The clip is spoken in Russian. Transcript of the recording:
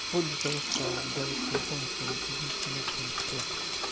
вплоть до того что ударить кулаком и сказать иди на хрен всё